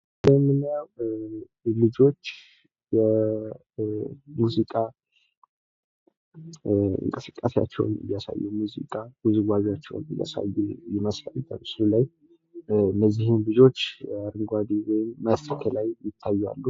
ይሄ ምናየው ልጆች የሙዚቃ እንቅስቃሴያቸውን ወይም ውዝዋዜያቸውን እያሳዩ ይመስላል። እነዚህም ልጆች አረንጓዴ መስክ ላይ ይታያሉ።